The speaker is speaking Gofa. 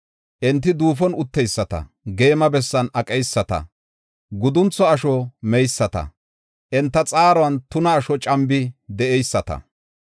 Enti duufon utteyisata, geema bessan aqeyisata, guduntho asho meyisata; enta xaaruwan, tuna asho cambi de7eyisata.